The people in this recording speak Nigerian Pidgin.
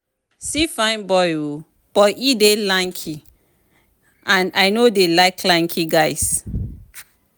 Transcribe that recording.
See fine boy um but he dey lanky and I no dey like lanky guys